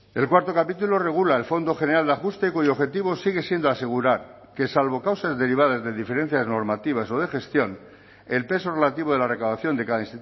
el cuarto capítulo regula el fondo general de ajuste cuyo objetivo sigue siendo asegurar que salvo causas derivadas de diferencias normativas o de gestión el peso relativo de la recaudación de cada